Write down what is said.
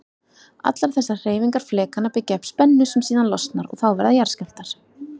Allar þessar hreyfingar flekanna byggja upp spennu sem síðan losnar og þá verða jarðskjálftar.